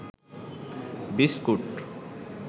biscuit